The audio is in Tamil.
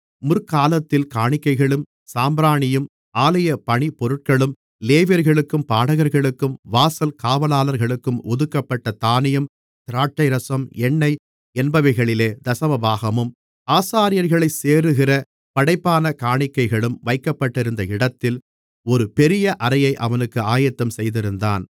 முற்காலத்தில் காணிக்கைகளும் சாம்பிராணியும் ஆலயப் பணிபொருட்களும் லேவியர்களுக்கும் பாடகர்களுக்கும் வாசல் காவலாளர்களுக்கும் ஒதுக்கப்பட்ட தானியம் திராட்சைரசம் எண்ணெய் என்பவைகளிலே தசமபாகமும் ஆசாரியர்களைச் சேருகிற படைப்பான காணிக்கைகளும் வைக்கப்பட்டிருந்த இடத்தில் ஒரு பெரிய அறையை அவனுக்கு ஆயத்தம்செய்திருந்தான்